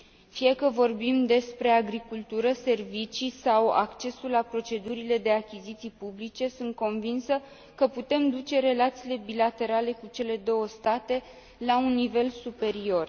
Fie că vorbim despre agricultură, servicii sau accesul la procedurile de achiziții publice, sunt convinsă că putem duce relațiile bilaterale cu cele două state la un nivel superior.